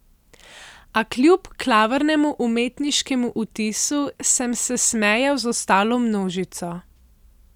A kljub klavrnemu umetniškemu vtisu sem se smejal z ostalo množico.